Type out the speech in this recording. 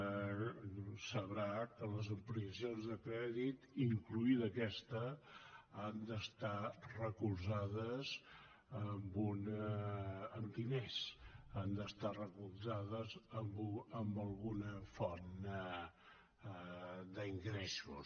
deu saber que les ampliacions de crèdit inclosa aquesta han d’estar recolzades amb diners han d’estar recolzades amb alguna font d’ingressos